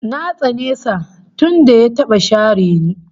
Na tsane sa tunda ya taba share ni